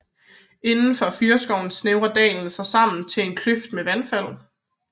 Indenfor fyrreskoven snævrer dalen sig sammen til et kløft med vandfald